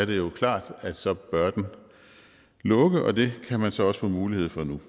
det jo klart at så bør den lukke og det kan man så også få mulighed for nu